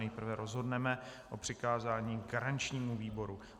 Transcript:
Nejprve rozhodneme o přikázání garančnímu výboru.